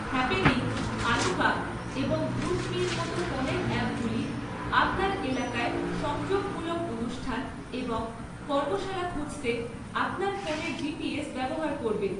Happening, আলোকা এবং গ্রুপমি’র মতো ফোনের অ্যাপগুলি আপনার এলাকায় সংযোগমূলক অনুষ্ঠান এবং কর্মশালা খুঁজতে আপনার ফোনের জিপিএস ব্যবহার করবে।